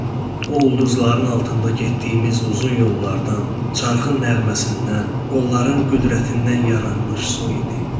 O ulduzların altında getdiyimiz uzun yollardan, çarxın nəğməsindən, qolların qüdrətindən yaranmış su idi.